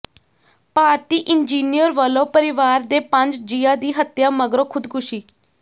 ਭਾਰਤੀ engineer ਵੱਲੋਂ ਪਰਿਵਾਰ ਦੇ ਪੰਜ ਜੀਆਂ ਦੀ ਹੱਤਿਆ ਮਗਰੋਂ ਖੁਦਕੁਸ਼ੀ